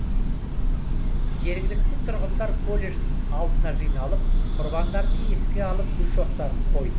жергілікті тұрғындар колледж алдына жиналып құрбандарды еске алып гүл шоқтарын қойды